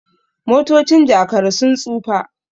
motocin Jakara sun tsufa